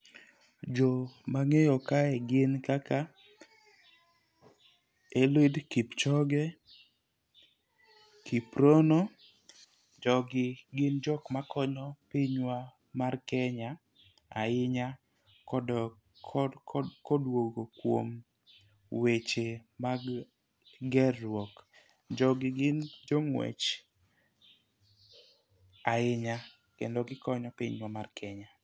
Jok mang'eyo kae gin kaka Eliud kichoge, kiprono . Jogi gin jok ma konyo pinywa mar Kenya ahinya kodok ko koduogo kuom weche mag gerruok . Jogi gin jong'wech ahinya kendo gikonyo pinywa mar Kenya.